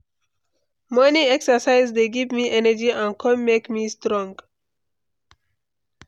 Morning exercise dey give me energy and come make me strong.